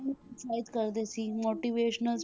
ਉਤਸ਼ਾਹਿਤ ਕਰਦੇ ਸੀ motivational